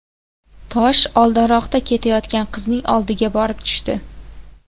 Tosh oldinroqda ketayotgan qizning oldiga borib tushdi.